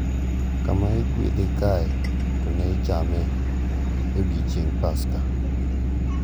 Kama iguedhe kae to ne ichame e odiechieng’ Paska.